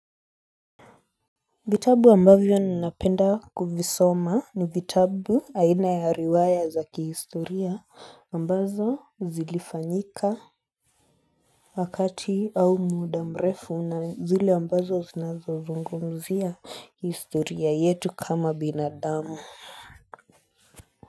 Vitabu ambavyo ninapenda kuvisoma ni vitabu aina ya riwaya za kihistoria ambazo zilifanyika wakati au muda mrefu na zile ambazo zinazozungumzia historia yetu kama binadamu.